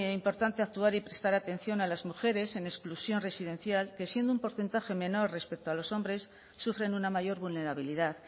importante actuar y prestar atención a las mujeres en exclusión residencial que siendo un porcentaje menor respecto a los hombres sufren una mayor vulnerabilidad